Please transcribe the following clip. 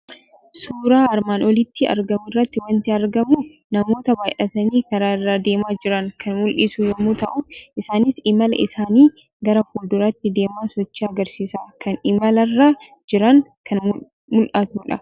Suuraa armaan olitti argamu irraa waanti argamu namoota baay'atani Karaa Irra deemaa jiran kan mul'isu yommuu ta'u, isaanis imala isaani gara fuulduraatti deemaa sochii agarsiisaa kan imalarra jiran kan mul'atudha.